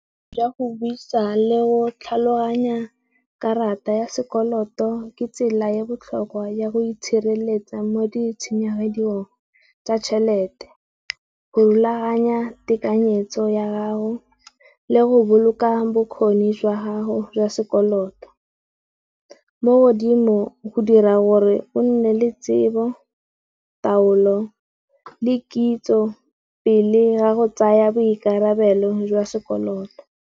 Jwa go buisa le go tlhaloganya karata ya sekoloto ke tsela ya botlhokwa ya go itshireletsa mo ditshenyegelong tsa tšhelete. Go rulaganya tekanyetso ya gago le go boloka bokgoni jwa gago jwa sekoloto. Mo modimong go dira gore o nne le tsebo, taolo le kitso pele ga go tsaya boikarabelo jwa sekoloto.